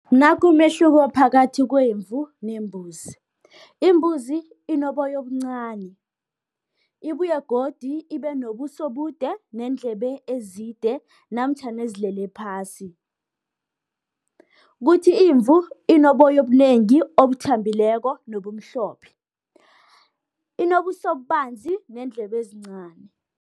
Nakumehloko phakathi kwemvu, nembuzi. Imbuzi inoboyo obuncani, ibuye godi ibenobuso obude, neendlebe ezide, namtjhana ezilele phasi. Kuthi imvu, inoboyo obunengi obuthambileko, nobumhlophe, inobusobanzi neendlebe ezincani.